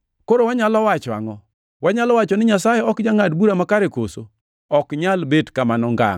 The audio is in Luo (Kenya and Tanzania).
Koro wanyalo wacho angʼo? Wanyalo wacho ni Nyasaye ok jangʼad bura makare koso? Ok nyal bet kamano ngangʼ!